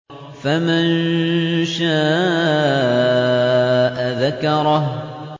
فَمَن شَاءَ ذَكَرَهُ